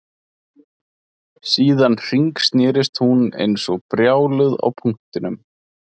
Síðan hringsnerist hún eins og brjáluð á punktinum